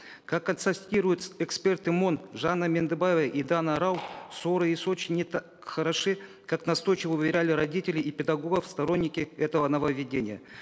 как констатируют эксперты мон жанна мендыбаева и дана рау сор ы и соч и не так хороши как настойчиво уверяли родителей и педагогов сторонники этого нововведения